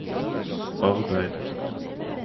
arbeid